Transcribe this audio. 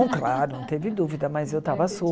Não, claro, não teve dúvida, mas eu estava